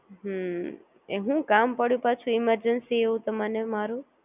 હું હું કામ પાડું પાછું Emergency તમને મારુ